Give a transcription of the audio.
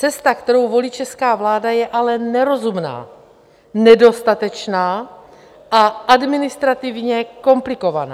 Cesta, kterou volí česká vláda je ale nerozumná, nedostatečná a administrativně komplikovaná.